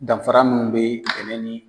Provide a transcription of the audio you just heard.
Danfara munnu bɛ bɛnɛ ni